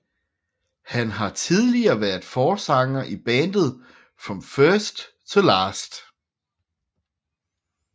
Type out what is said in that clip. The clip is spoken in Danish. Han har tidligere været forsanger i bandet From First To Last